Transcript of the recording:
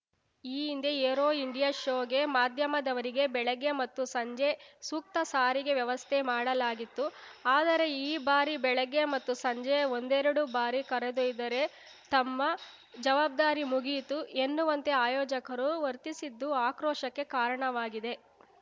ಈ ಹಿಂದೆ aero India ಶೋಗೆ ಮಾಧ್ಯಮದವರಿಗೆ ಬೆಳಗ್ಗೆ ಮತ್ತು ಸಂಜೆ ಸೂಕ್ತ ಸಾರಿಗೆ ವ್ಯವಸ್ಥೆ ಮಾಡಲಾಗಿತ್ತು ಆದರೆ ಈ ಬಾರಿ ಬೆಳಗ್ಗೆ ಮತ್ತು ಸಂಜೆ ಒಂದೆರಡು ಬಾರಿ ಕರೆದೊಯ್ದರೆ ತಮ್ಮ ಜವಾಬ್ದಾರಿ ಮುಗಿಯಿತು ಎನ್ನುವಂತೆ ಆಯೋಜಕರು ವರ್ತಿಸಿದ್ದು ಆಕ್ರೋಶಕ್ಕೆ ಕಾರಣವಾಗಿದೆ